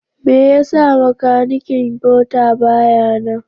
Me yasa makanikin mota baya nan?